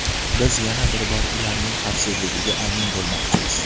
Biz yana bir bor ularning xavfsizligiga amin bo‘lmoqchimiz.